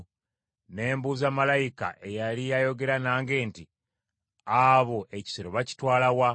Ne mbuuza malayika eyali ayogera nange nti, “Abo ekisero bakitwala wa?”